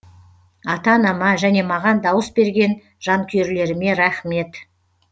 ата анама және маған дауыс берген жанкүйерлеріме рахмет